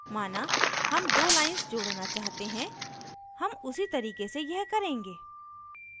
माना हम दो lines जोड़ना चाहते हैं हम उसी तरीके से यह करेंगे